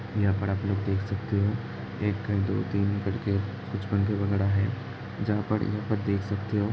यहाँ पर आप लोग देख सकते हो एक दो तीन करके वगैरह है | जहाँ पर यहाँ पर देख सकते हो--